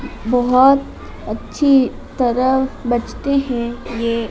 बहुत अच्छी तरह बजते हैं ये--